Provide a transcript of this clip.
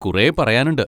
കുറേ പറയാനുണ്ട്.